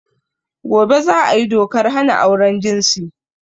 Gobe za a yi dokar hana auren jinsi.